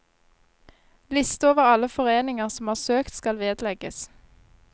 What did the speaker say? Liste over alle foreninger som har søkt skal vedlegges.